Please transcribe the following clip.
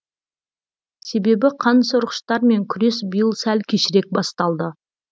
себебі қансорғыштармен күрес биыл сәл кешірек басталды